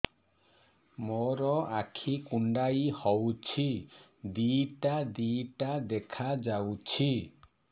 ମୋର ଆଖି କୁଣ୍ଡାଇ ହଉଛି ଦିଇଟା ଦିଇଟା ଦେଖା ଯାଉଛି